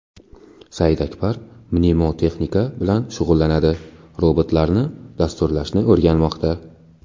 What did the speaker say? Saidakbar mnemotexnika bilan shug‘ullanadi, robotlarni dasturlashni o‘rganmoqda.